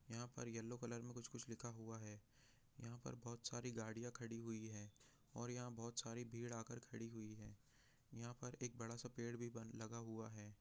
यहाँ पर yellow colour से कुछ लिखा हुआ है यहाँ पर बहुत सी गाड़िया खड़ी है यहाँ पे बहुत सी भीड़ भी लगी हुआ है यहाँ पर एक बड़ा सा पेड़ भी लगा हैं।